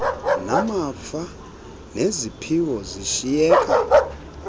namafa neziphiwo zishiyeka